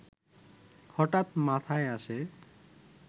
হঠাৎ মাথায় আসে